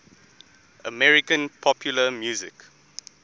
american popular music